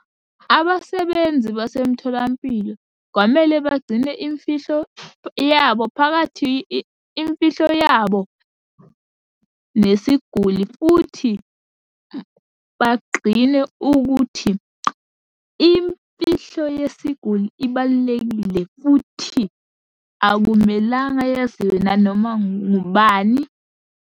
Abasebenzi basemtholampilo kwamele bagcine imfihlo yabo phakathi imfihlo yabo nesiguli, futhi bagqine ukuthi, imfihlo yesiguli ibalulekile futhi akumelanga yeziwe nanoma ngubani.